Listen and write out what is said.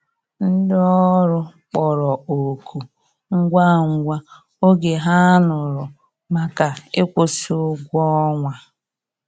Ndi ọrụ kpọrọ oku ngwa ngwa oge ha nụrụ maka ikwusi ụgwọ ọnwa.